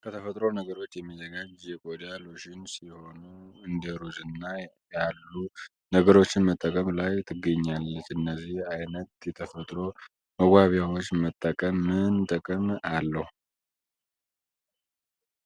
ከተፈጥሮ ነገሮች የሚዘጋጅ የቆዳ ሎሽን ሲሆኑ እንደሩዝና ያሉ ነገሮችን መጠቀም ላይ ትገኛለች። እነዚህን አይነት የተፈጥሮ መዋቢያዎች መጠቀም ምን ጥቅም አለው?